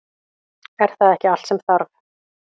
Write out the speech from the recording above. Er það ekki allt sem þarf?